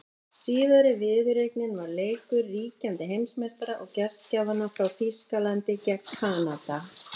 Síðari viðureignin var leikur ríkjandi heimsmeistara og gestgjafanna frá Þýskalandi gegn Kanada.